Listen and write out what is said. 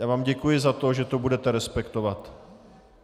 Já vám děkuji za to, že to budete respektovat.